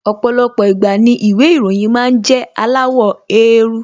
Ọ̀pọ̀lọpọ̀ ìgbà ni ìwé ìròyìn máa ń jẹ́ aláwọ̀ éérú